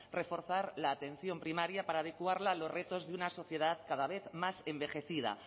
reforzar la atención primaria para adecuarla a los retos de una sociedad cada vez más envejecida